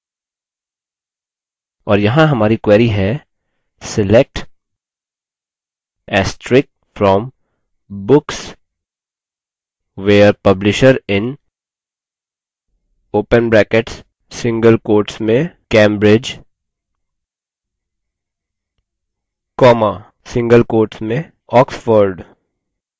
और यहाँ हमारी query है: select * from books where publisher in cambridge oxford